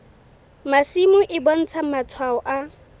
masimo e bontsha matshwao a